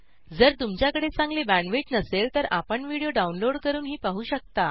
जर तुमच्याकडे चांगली बॅण्डविड्थ नसेल तर आपण व्हिडिओ डाउनलोड करूनही पाहू शकता